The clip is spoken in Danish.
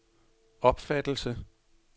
opfattelse